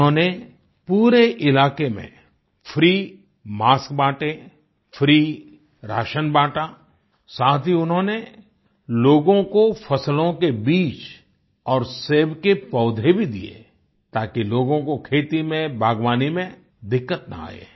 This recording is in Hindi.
उन्होंने पूरे इलाके में फ्री मास्क बांटे फ्री राशनration बांटा साथ ही उन्होंने लोगों को फसलों के बीज और सेब के पौधे भी दिए ताकि लोगों को खेती में बागवानी में दिक्कत न आये